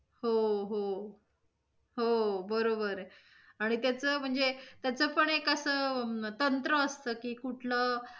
हो! हो हो! बरोबर आहे. आणि त्याच म्हणजे, त्याच पण एक अस तंत्र असत की कूठल,